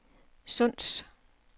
Sunds